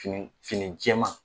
Fini fini jɛɛman.